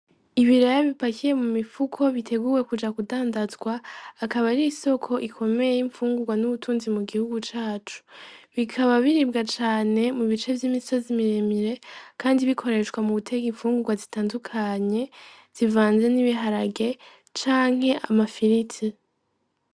Ibiraya bipakiye mu mifuko biteguwe kuja kudandazwa akaba ar'isoko ikomeye imfungurwa n'ubutunzi mu gihugu cacu bikaba biribwa cane mu bice vy'imisazi miremire, kandi bikoreshwa muguteka imfungurwa zitandukanye zivanze n'ibiharage canke amafirite.